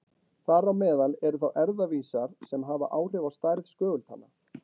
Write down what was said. Þar á meðal eru þá erfðavísar sem hafa áhrif á stærð skögultanna.